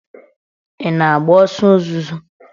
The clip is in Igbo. Ị na m agba ọsọ ozuzo?